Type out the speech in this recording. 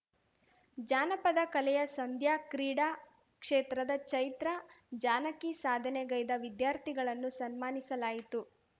ಜಾನಪದ ಕಲೆಯ ಸಂಧ್ಯಾ ಕ್ರೀಡಾ ಕ್ಷೇತ್ರದ ಚೈತ್ರ ಜಾನಕಿ ಸಾಧನೆಗೈದ ವಿದ್ಯಾರ್ಥಿಗಳನ್ನು ಸನ್ಮಾನಿಸಲಾಯಿತು